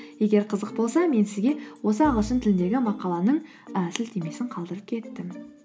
егер қызық болса мен сізге осы ағылшын тіліндегі мақаланың і сілтемесін қалдырып кеттім